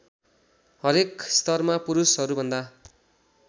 हरेक स्तरमा पुरूषहरूभन्दा